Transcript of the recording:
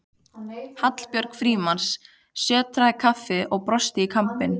Hallbjörg Frímanns sötrar kaffið og brosir í kampinn.